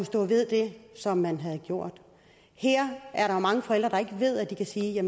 stå ved det som man havde gjort her er der mange forældre der ikke ved at de kan sige at